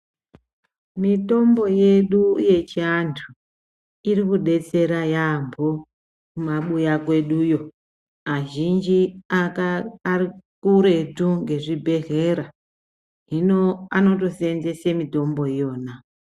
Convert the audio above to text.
Mitombo yedu yechiantu irikudetsera yaambo kumabuya kweduyo. Azhinji arikuretu ngezvibhehlera, hino anondoseenzese mitombo iyona.